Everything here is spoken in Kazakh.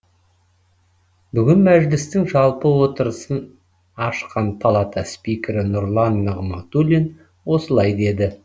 бүгін мәжілістің жалпы отырысын ашқан палата спикері нұрлан нығматулин осылай деді